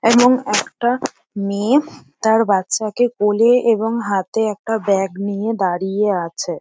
এবং একটা মেয়ে তার বাচ্ছাকে কোলে এবং হাতে একটা ব্যাগ নিয়ে দাঁড়িয়ে আছে।